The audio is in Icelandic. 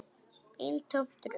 Eintómt rugl.